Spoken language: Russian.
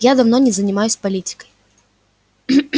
я давно не занимаюсь политикой